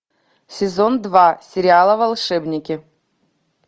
сезон два сериала волшебники